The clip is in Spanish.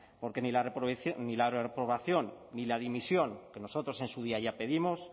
porque ni la reprobación ni la dimisión que nosotros en su día ya pedimos